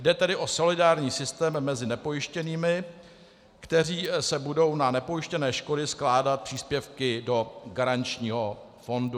Jde tedy o solidární systém mezi nepojištěnými, kteří se budou na nepojištěné škody skládat příspěvky do garančního fondu.